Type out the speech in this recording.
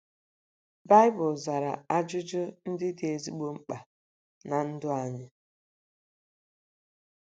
BAỊBỤL zara ajụjụ ndị dị ezigbo mkpa ná ndụ anyị.